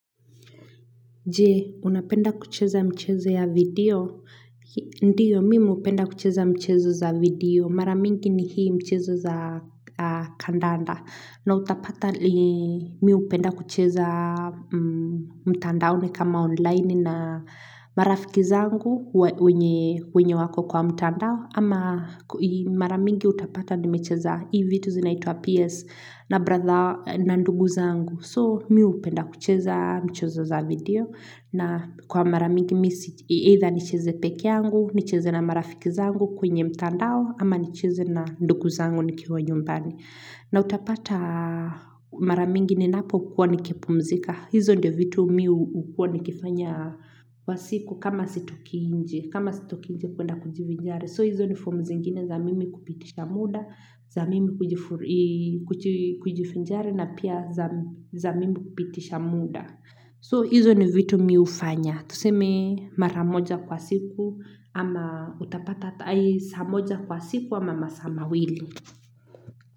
Je, unapenda kucheza mchezo ya video? Ndio, mimi upenda kucheza mchezo za video. Mara mingi ni hii michezo za kandanda. Na utapata, mi upenda kucheza mtandaoni kama online na marafiki zangu wenye wako kwa mtandao. Ama mara mingi utapata nimecheza hii vitu zinaitwa PS na ndugu zangu. So, miu upenda kucheza mchezo za video. Na kwa mara mingi mimi, either nicheze pekeangu, nicheze na marafiki zangu kwenye mtandao, ama nicheze na ndugu zangu nikiwa nyumbani. Na utapata mara mingi ninapo kuwa nikipumzika. Hizo ndio vitu mi ukuwa nikifanya kwa siku kama sitoki inje, kama sitoki inje kwenda kujivinjari. So hizo ni fomu zengine za mimi kupitisha muda, za mimi kujifinjari na pia za mimi kupitisha muda. So hizo ni vitu mi ufanya. Tuseme mara moja kwa siku ama utapata ata saa moja kwa siku ama masaa mawili.